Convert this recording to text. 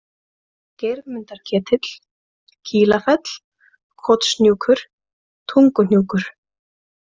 Geirmundarketill, Kílafell, Kotshnjúkur, Tunguhnjúkur